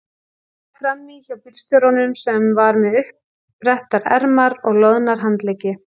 Sat frammí hjá bílstjóranum sem var með uppbrettar ermar og loðna handleggi.